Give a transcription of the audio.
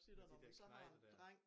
Men de dér knejte dér